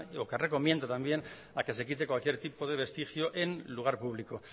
o que recomienda también a que se quite cualquier tipo vestigio en lugar público